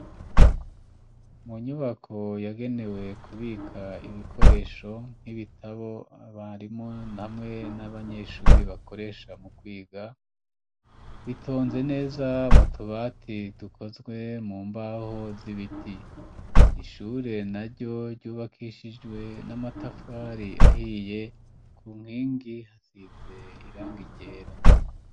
Mu nyubako yagenewe kubika ibikoresho nk'ibitabo abarimu hamwe n'abanyeshure bakoresha mu kwiga, bitonze neza mu tubati tukozwe mu mbaho z'ibiti, ishure naryo ryubakishijwe n'amatafari ahiye ku nkingi hasize irangi ryera.